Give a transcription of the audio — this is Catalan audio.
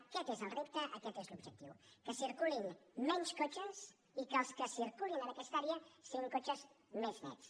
aquest és el repte aquest és l’objectiu que circulin menys cotxes i que els que circulin en aquesta àrea siguin cotxes més nets